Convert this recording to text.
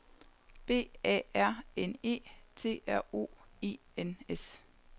B A R N E T R O E N S